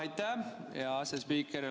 Aitäh, hea asespiiker!